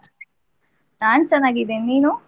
ನಾನ್ ಚೆನ್ನಾಗಿದ್ದೇನೆ, ನೀನು?